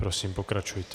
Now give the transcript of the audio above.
Prosím, pokračujte.